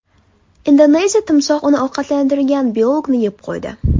Indoneziyada timsoh uni ovqatlantirayotgan biologni yeb qo‘ydi.